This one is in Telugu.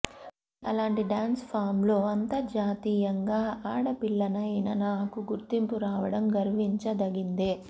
కానీ అలాంటి డ్యాన్స్ ఫామ్లో అంతర్జాతీయంగా ఆడపిల్లనైన నాకు గుర్తింపు రావడం గర్వించదగిందే